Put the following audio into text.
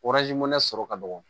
sɔrɔ ka dɔgɔ